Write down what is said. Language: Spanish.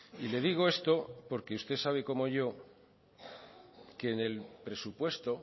y le digo esto porque usted sabe como yo que en el presupuesto